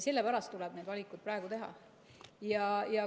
Sellepärast tuleb neid valikuid praegu teha.